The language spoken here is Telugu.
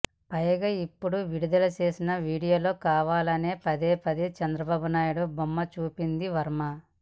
పైగా ఇప్పుడు విడుదల చేసిన వీడియోలో కావాలనే పదే పదే చంద్రబాబునాయుడు బొమ్మ చూపించాడు వర్మ